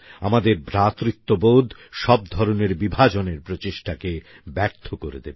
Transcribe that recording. আমাদের ভ্রাতৃত্ববোধ সব ধরনের বিভাজনের প্রচেষ্টাকে ব্যর্থ করে দেবে